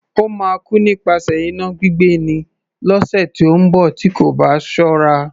Ó máa kú nípasẹ̀ iná gbígbé ni, lọ́sẹ̀ tí ó ń bọ̀ tí kò bá ṣọ́ra.